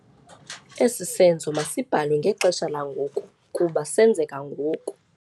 Esi senzo masibhalwe ngexesha langoku kuba senzeka ngoku.